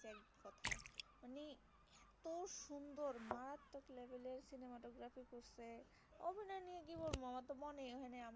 আমি কি বলবো আমার তো মনেই হয় না